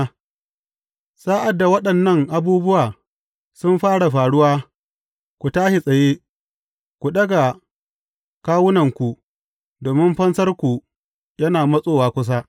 Sa’ad da waɗannan abubuwa sun fara faruwa, ku tashi tsaye, ku ɗaga kawunanku, domin fansarku yana matsowa kusa.